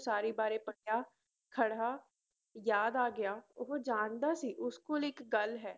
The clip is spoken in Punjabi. ਉਸਾਰੀ ਬਾਰੇ ਪੜ੍ਹਿਆ ਖੜਾ ਯਾਦ ਆ ਗਿਆ ਉਹ ਜਾਣਦਾ ਸੀ ਉਸ ਕੋਲ ਇੱਕ ਗੱਲ ਹੈ।